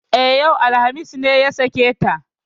E, yau alhamis ne ya sake ta.